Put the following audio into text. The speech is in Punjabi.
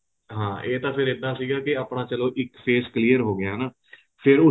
ਆਂ ਇਹ ਤਾਂ ਫੇਰ ਏਦਾ ਸੀਗਾ ਕਿ ਆਪਣਾ ਚੱਲੋ ਇੱਕ face clear ਹੋ ਗਿਆ ਹਨਾ